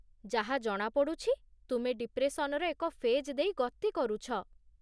ଯାହା ଜଣାପଡ଼ୁଛି, ତୁମେ ଡିପ୍ରେସନର ଏକ ଫେଜ୍ ଦେଇ ଗତି କରୁଛ।